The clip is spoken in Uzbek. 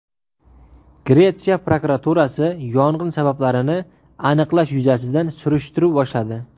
Gretsiya prokuraturasi yong‘in sabablarini aniqlash yuzasidan surishtiruv boshladi.